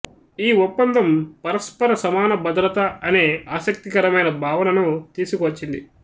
ఈ ఒప్పందం పరస్పర సమాన భద్రత అనే ఆసక్తికరమైన భావనను తీసుకువచ్చింది